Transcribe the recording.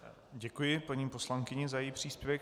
Děkuji paní poslankyni za její příspěvek.